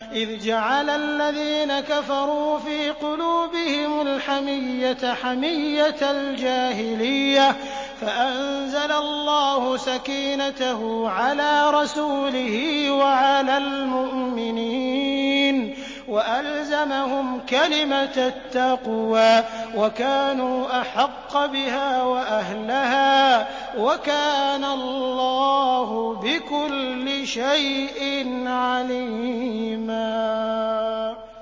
إِذْ جَعَلَ الَّذِينَ كَفَرُوا فِي قُلُوبِهِمُ الْحَمِيَّةَ حَمِيَّةَ الْجَاهِلِيَّةِ فَأَنزَلَ اللَّهُ سَكِينَتَهُ عَلَىٰ رَسُولِهِ وَعَلَى الْمُؤْمِنِينَ وَأَلْزَمَهُمْ كَلِمَةَ التَّقْوَىٰ وَكَانُوا أَحَقَّ بِهَا وَأَهْلَهَا ۚ وَكَانَ اللَّهُ بِكُلِّ شَيْءٍ عَلِيمًا